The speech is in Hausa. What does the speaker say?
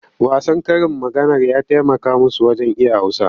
Wasan karin maganar ya taimaka musu wajen iya Hausa.